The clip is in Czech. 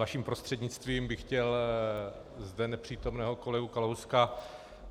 Vaším prostřednictvím bych chtěl zde nepřítomného kolegu Kalouska